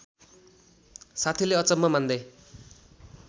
साथीले अचम्म मान्दै